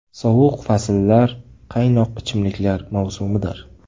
Sovuq fasllar qaynoq ichimliklar mavsumidir!